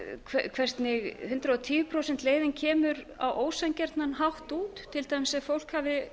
hvernig hundrað og tíu prósenta leiðin kemur á ósanngjarnan hátt út til dæmis ef fólk hafi